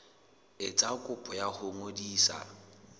etsa kopo ya ho ngodisa